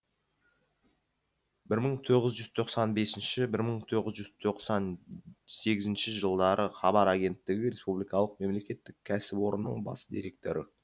бір мың тоғыз жүз тоқсан бесінші бір мың тоғыз жүз тоқсан сегізінші жылдары хабар агенттігі республикалық мемлекеттік кәсіпорнының бас директоры